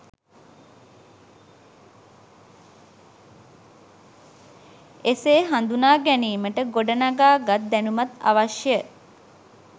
එසේ හදුනා ගැනීමට ගොඩනගා ගත් දැනුමත් අවශ්‍ය